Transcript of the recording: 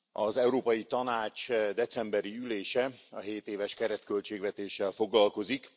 Az Európai Tanács decemberi ülése a 7 éves keretköltségvetéssel foglalkozik.